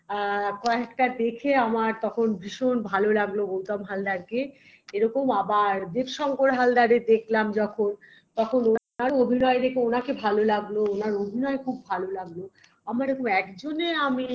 অ্যা কয়েকটা দেখে আমার তখন ভীষণ ভালো লাগলো গৌতম হালদারকে এরকম আবার দেবশঙ্কর হালদারের দেখলাম যখন তখন ওনার অভিনয় দেখে ওনাকে ভালো লাগলো অভিনয় খুব ভালো লাগলো আমার এরকম একজনের আমি